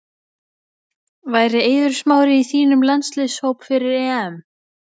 Væri Eiður Smári í þínum landsliðshóp fyrir EM?